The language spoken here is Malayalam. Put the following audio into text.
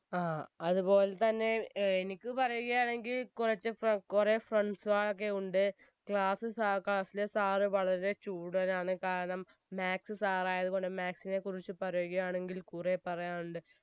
ആ അതുപോലെതന്നെ ഏർ എനിക്ക് പറയുകയാണെങ്കിൽ കുറച്ച പോ കുറെ friends കളൊക്കെ ഉണ്ട് class സ ആ class ലെ sir വളരെ ചൂടനാണ് കാരണം maths sir ആയത് കൊണ്ട് maths നെ കുറിച്ച് പറയുകയാണെങ്കിൽ കുറെ പറയാനുണ്ട്